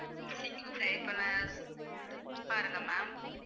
சீக்கரம் சரி பண்ண பாருங்க ma'am